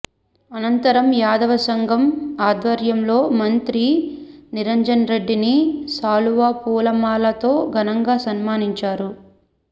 అనంతరం యాదవ సంఘం ఆధ్వర్యంలో మంత్రి నిరంజన్రెడ్డిని శాలువా పూలమా లలతో ఘనంగా సన్మానించారు